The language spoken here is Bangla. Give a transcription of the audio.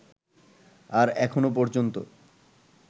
আর এখনও পর্যন্ত